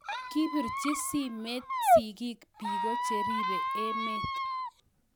Kibirchi simet sigiik biko cheeribe emet